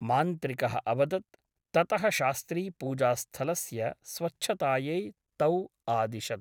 मान्त्रिकः अवदत् । ततः शास्त्री पूजास्थलस्य स्वच्छतायै तौ आदिशत्।